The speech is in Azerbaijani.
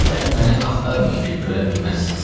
Dəxi məni axtarmayın ki, görə bilməzsiz.